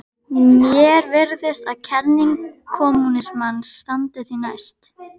Mér virðist að kenning kommúnismans standi því næst.